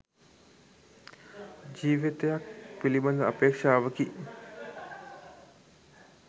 ජීවිතයක් පිළිබඳ අපේක්ෂාවකි.